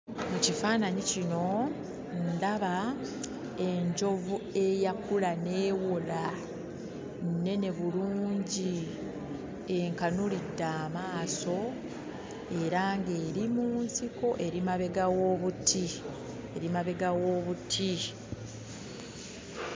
Mu kifaananyi kino ndaba enjovu eyakula n'ewola nnene bulungi enkanuulidde amaaso, era ng'eri mu nsiko eri mabega w'obuti, eri mabega w'obuti.